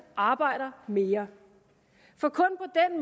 arbejder mere